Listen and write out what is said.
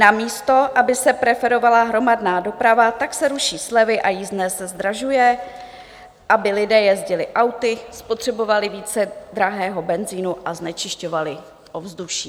Namísto aby se preferovala hromadná doprava, tak se ruší slevy a jízdné se zdražuje, aby lidé jezdili auty, spotřebovali více drahého benzinu a znečišťovali ovzduší.